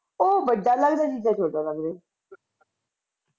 ਉਹ ਵੱਡਾ ਲੱਗਦਾ ਜੀਜਾ ਛੋਟਾ ਲੱਗਦਾ ਈ ਇੱਦਾਂ ਈ